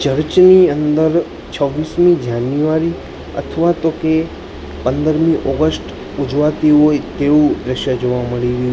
church ની અંદર છૌવીસમી જાન્યુઆરી અથવા તો કે પંદરમી ઓગસ્ટ ઉજવાતી હોય તેવુ દ્રશ્ય જોવા મલી રહ્યુ--